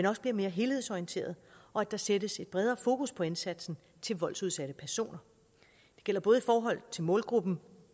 også bliver mere helhedsorienteret og at der sættes et bredere fokus på indsatsen til voldsudsatte personer det gælder både i forhold til målgruppen